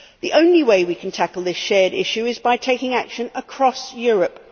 The only way we can tackle this shared issue is by taking action across Europe.